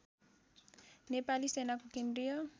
नेपाली सेनाको केन्द्रीय